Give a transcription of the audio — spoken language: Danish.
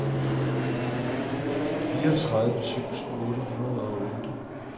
fireogtredive tusind otte hundrede og otte